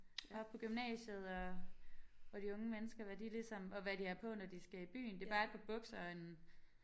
Oppe på gymnasiet og og de unge mennesker hvad de ligesom og hvad de har på når de skal i byen det bare et par bukser og en